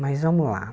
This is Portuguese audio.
Mas vamos lá.